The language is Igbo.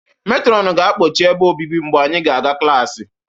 Metrọnụ ga-akpọchi ebe obibi mgbe anyị ga-aga klaasị